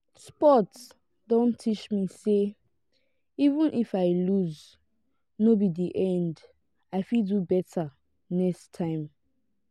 sport don teach me say even if i loose no be di end i fit do better next time